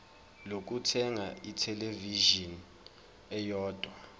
lokuthenga ithelevishini eyodwa